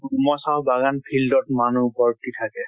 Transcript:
চাহ বাগান field ত মানুহ ভৰ্তি থাকে।